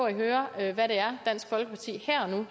at høre hvad det er dansk folkeparti